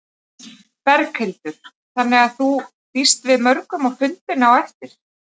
Berghildur: Þannig að þú býst við mörgum á fundinn á eftir?